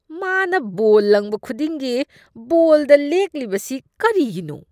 ꯃꯥꯅ ꯕꯣꯜ ꯂꯪꯕ ꯈꯨꯗꯤꯡꯒꯤ ꯕꯣꯜꯗ ꯂꯦꯛꯂꯤꯕꯁꯤ ꯀꯔꯤꯒꯤꯅꯣ?